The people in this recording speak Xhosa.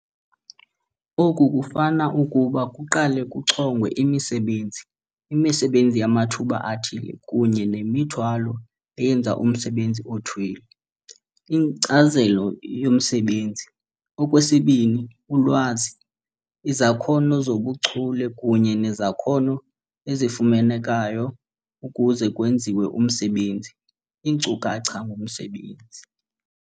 Oku kufana ukuba kuqale kuchongwe imisebenzi, imisebenzi yamathuba athile kunye nemithwalo eyenza umsebenzi othile, inkcazelo yomsebenzi, okwesibini, ulwazi, izakhono zobuchule kunye nezakhono ezifunekayo ukuze kwenziwe umsebenzi, iinkcukacha ngomsebenzi.